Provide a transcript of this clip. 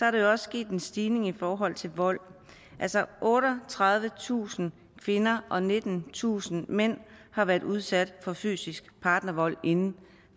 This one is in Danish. at der er sket en stigning i forhold til vold otteogtredivetusind kvinder og nittentusind mænd har været udsat for fysisk partnervold inden